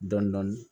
Dɔndɔni